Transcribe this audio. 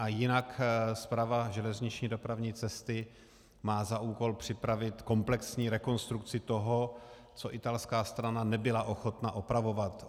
A jinak Správa železniční dopravní cesty má za úkol připravit komplexní rekonstrukci toho, co italská strana nebyla ochotna opravovat.